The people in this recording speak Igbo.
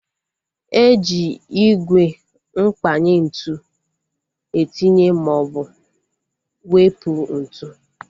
Eji ígwè mkpanye ntụ etinye maọbụ wepụ ntụ